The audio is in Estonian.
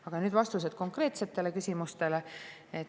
Aga nüüd vastused konkreetsetele küsimustele.